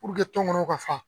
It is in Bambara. Puruke tɔnkɔnɔw ka fa